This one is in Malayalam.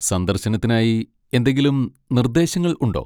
സന്ദർശനത്തിനായി എന്തെങ്കിലും നിർദ്ദേശങ്ങൾ ഉണ്ടോ?